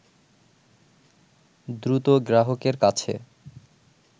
দ্রুত গ্রাহকের কাছে